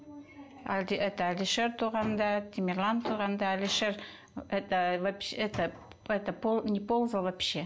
әлде это әлишер туғанда темирлан туғанда әлишер это это это неползал вообще